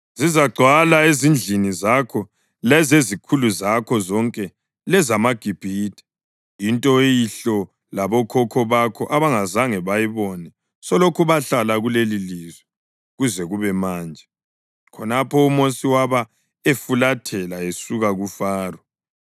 Zizagcwala ezindlini zakho lezezikhulu zakho zonke lezamaGibhithe, into oyihlo labokhokho bakho abangazange bayibone selokhu bahlala kulelilizwe kuze kube manje.’ ” Khonapho uMosi wabe efulathela esuka kuFaro.